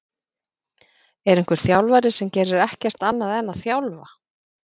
Er einhver þjálfari sem gerir ekkert annað en að þjálfa?